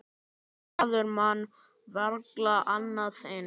Maður man varla annað eins.